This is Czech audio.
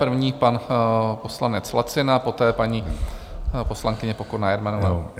První pan poslanec Lacina, poté paní poslankyně Pokorná Jermanová.